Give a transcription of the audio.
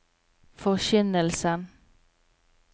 forkynnelsen